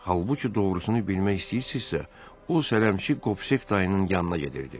Halbuki doğrusunu bilmək istəyirsinizsə, o sələmçi Kopsek dayının yanına gedirdi.